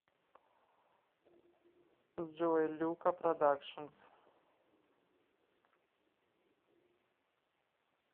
джой люка продакшнс